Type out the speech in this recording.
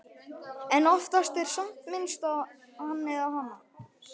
En oftast er samt minnst á Hann eða Hana.